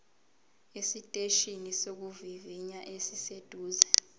esiteshini sokuvivinya esiseduze